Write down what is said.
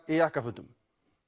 í jakkafötum